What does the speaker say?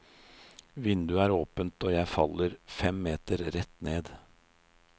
Vinduet er åpent og jeg faller fem meter rett ned.